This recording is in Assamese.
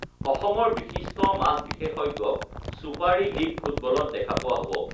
অসমৰ বিশিষ্ট মাছ বিশেষজ্ঞক ছুপাৰী লীগ ফুটবলত দেখা পোৱা হ'ব